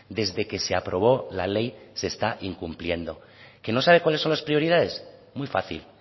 desde que se aprobó la ley se está incumpliendo que no sabe cuáles son las prioridades muy fácil